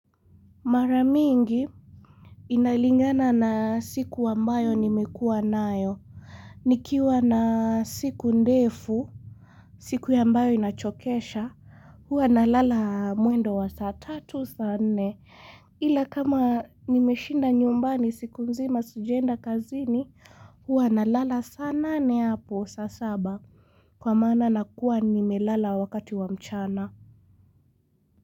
Maramingi Inalingana na siku wambayo nimekua nayo Nikiwa na siku ndefu siku yambayo inachokesha huwa nalala muendo wa saa tatu saa nne Ila kama nimeshinda nyumbani siku nzima sajaenda kazini huwa na lala saa nane hapo saa saba kwa mana nakua nimelala wakati wa mchana.